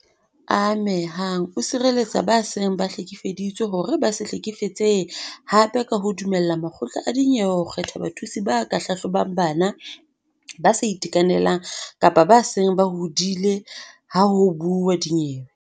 Ame hang o sireletsa ba seng ba hlekefeditswe hore ba se hlekefetsehe hape ka ho dumella makgotla a dinyewe ho kgetha bathusi ba ka hlahlobang bana, ba sa itekanelang kapa ba seng ba hodile ha ho buuwa dinyewe.